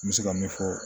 N bɛ se ka min fɔ